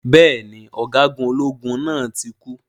Bẹ́ẹ̀ni, Ọ̀gágun ológun náà tí kú.